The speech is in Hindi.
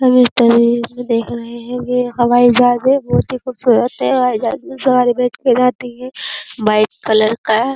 सब इस तरीके से देख रहे हैं। ये हवाई जहाज है बोहोत ही खुबसूरत है। हवाई जहाज में सवारी बैठ के जाती है। व्हाइट कलर का है।